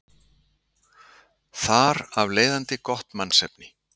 Þar af leiðandi gott mannsefni.